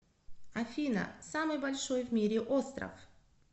афина самый большой в мире остров